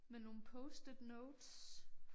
Med nogle post it notes